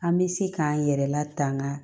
An bɛ se k'an yɛrɛ latanga